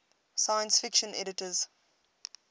science fiction editors